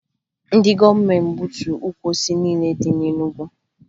Ndị gọọmenti gbuturu ukwu osisi niile dị na Enugwu